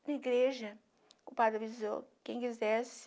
Na igreja, o padre avisou quem quisesse,